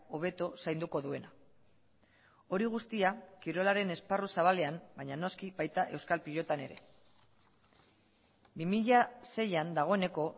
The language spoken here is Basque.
hobeto zainduko duena hori guztia kirolaren esparru zabalean baina noski baita euskal pilotan ere bi mila seian dagoeneko